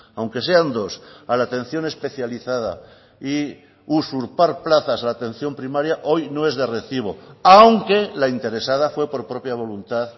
aunque sean dos a la atención especializada y usurpar plazas a la atención primaria hoy no es de recibo aunque la interesada fue por propia voluntad